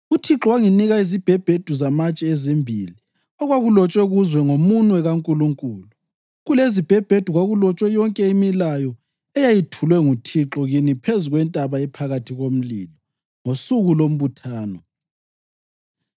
UThixo wanginika izibhebhedu zamatshe ezimbili okwakulotshwe kuzo ngomunwe kaNkulunkulu. Kulezizibhebhedu kwakulotshwe yonke imilayo eyayethulwe nguThixo kini phezu kwentaba ephakathi komlilo, ngosuku lombuthano.